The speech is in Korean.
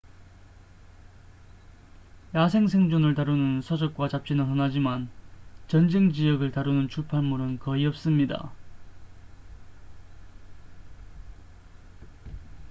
야생 생존을 다루는 서적과 잡지는 흔하지만 전쟁 지역을 다루는 출판물은 거의 없습니다